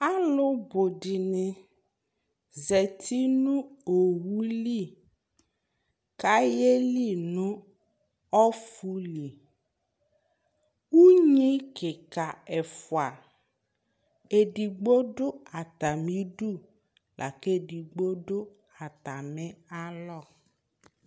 alò bu di ni zati no owu li k'ayeli no ɔfu li unyi keka ɛfua edigbo du atami du la kò edigbo do atami alɔ